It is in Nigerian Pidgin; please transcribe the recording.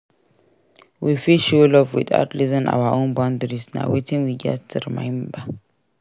We fit show love without losing our own boundaries; na wetin we gats remember.